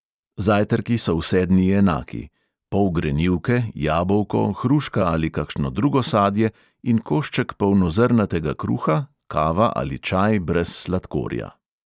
Zajtrki so vse dni enaki – pol grenivke, jabolko, hruška ali kakšno drugo sadje in košček polnozrnatega kruha, kava ali čaj brez sladkorja.